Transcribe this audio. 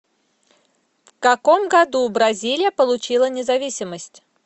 в каком году бразилия получила независимость